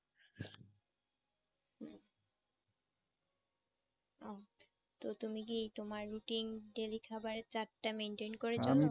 ও। তা তুমি কি তোমার routine daily খাবারের chart টা maintain করে চলো?